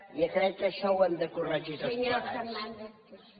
jo crec que això ho hem de corregir tots plegats